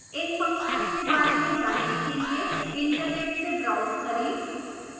इन functions के बारे में जानने के लिए internet से browse करें